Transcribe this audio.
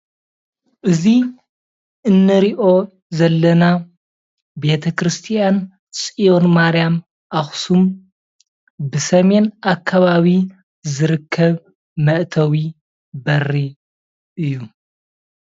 እዚ እንሪኦ ዘለና ቤተክርስትያን ፅዮን ማርያም ኣክሱም ብሰሜን ኣከባቢ ዝርከብ መእታዊ በሪ እዩ፡፡